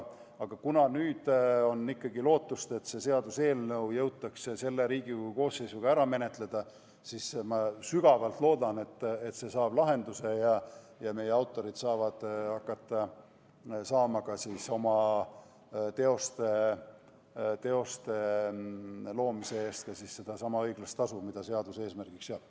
Kuna nüüd on aga ikkagi lootust, et see seaduseelnõu jõutakse selle Riigikogu koosseisu jooksul ära menetleda, siis ma sügavalt loodan, et see saab lahenduse ja meie autorid saavad hakata saama oma teoste loomise eest sedasama õiglast tasu, mida seadus eesmärgiks seab.